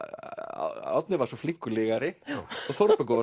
Árni var svo flinkur lygari og Þórbergur